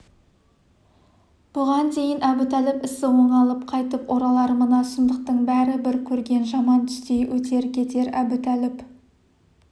бұған дейін әбутәліп ісі оңалып қайтып оралар мына сұмдықтың бәрі бір көрген жаман түстей өтер-кетер әбутәліп